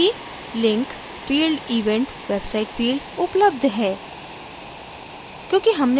देखें कि link: field _ event _ website field उपलब्ध है